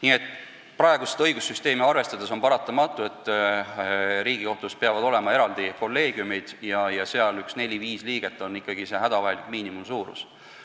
Nii et praegust õigussüsteemi arvestades on paratamatu, et Riigikohtus peavad olema eraldi kolleegiumid ja seal neli-viis liiget on ikkagi hädavajalik miinimumsuurus.